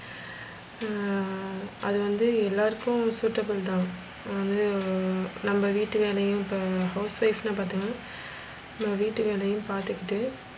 ஆஹ் அது வந்து எல்லாருக்கும் suitable தான் அது நம்ம வீட்டு வேலையும் இப்ப house wife னா பாத்திங்கனா நம்ம வீட்டு வேலையும் பாத்திக்கிட்டு,